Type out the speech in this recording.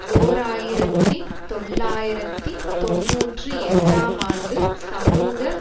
ஓர் ஆயிரத்தி தொள்ளாயிரத்தி தொன்னூற்றி எட்டாம் ஆண்டு சமூக